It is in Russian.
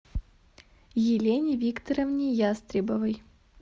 елене викторовне ястребовой